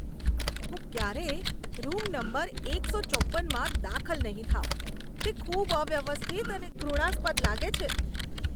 હું ક્યારેય room number એકસો ચોપ્પનમાં દાખલ નહીં થાઉં, તે ખૂબ અવ્યવસ્થિત અને ઘૃણાસ્પદ લાગે છે.